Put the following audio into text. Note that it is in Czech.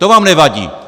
To vám nevadí!